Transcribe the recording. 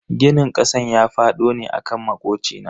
Ginin kasan ya fado ne akan makocina.